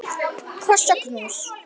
Koss og knús.